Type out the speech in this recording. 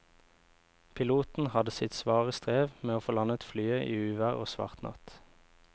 Piloten hadde sitt svare strev med å få landet flyet i uvær og svart natt.